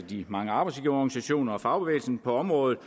de mange arbejdsgiverorganisationer og fagbevægelsen på området